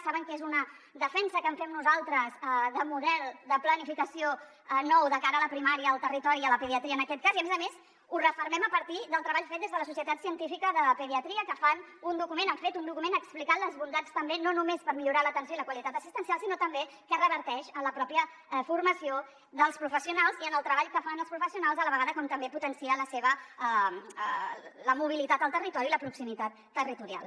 saben que és una defensa que fem nosaltres de model de planificació nou de cara a la primària al territori i a la pediatria en aquest cas i a més a més ho refermem a partir del treball fet des de la societat científica de pediatria que fan un document han fet un document explicant ne les bondats també no només per millorar l’atenció i la qualitat assistencial sinó també que reverteix en la pròpia formació dels professionals i en el treball que fan els professionals a la vegada com també potenciar la mobilitat al territori i la proximitat territorial